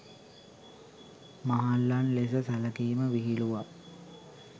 මහල්ලන් ලෙස සැලකීම විහිළුවක්.